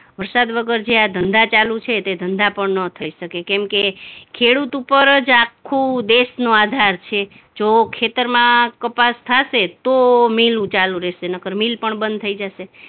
વરસાદ વગર જે આ ધંધા ચાલુ છે તે ધંધા પણ નો થઇ શકે કેમકે ખેડૂત ઉપર જ આખું દેશનો આધાર છે. જો ખેતરમાં કપાસ થાશે તો મિલ ચાલુ રહેશે નહીંતર મિલ પણ બંધ થઇ જાશે.